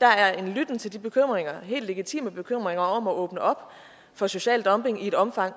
der er en lytten til de bekymringer helt legitime bekymringer om at åbne op for social dumping i et omfang